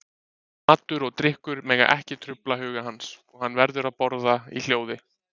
Matur og drykkur mega ekki trufla huga hans, og hann verður að borða í hljóði.